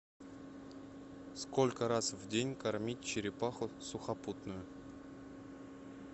сколько раз в день кормить черепаху сухопутную